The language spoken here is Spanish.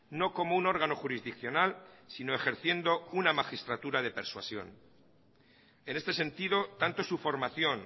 no como un órgano jurisdiccional sino ejerciendo una magistratura de persuasión en este sentido tanto su formación